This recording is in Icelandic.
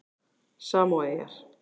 Samóaeyjar